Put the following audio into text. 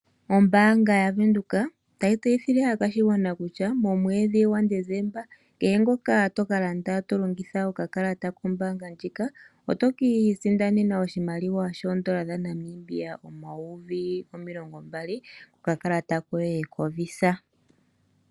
Ombaanga yavenduka otayi tseyithile aakwashigwana kutya momwedhi gwaDesemba kutya kehe ngoka tokalanda too longitha okakalata kombaanga ndjika oto kiisindanena oshimaliwa shoodola dhaNamibia omayovi omilongo mbali kokakalata koye koVisa.